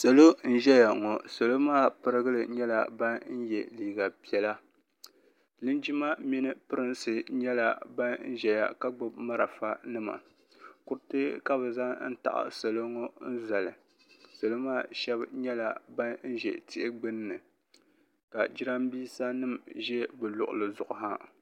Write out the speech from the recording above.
Salo n ʒɛya ŋɔ salo maa pirigili nyɛla ban yɛ liiga piɛla linjima Mimi pirinsi nyɛla ban ʒɛya ka gbubi marafa nima kuriti ka bi zaŋ taɣi salo ŋɔ n zali salo maa shɛba nyɛla ban ʒɛ tihi gbunni ka jiranbiisa nim ʒɛ bi luɣuli zuɣu ha.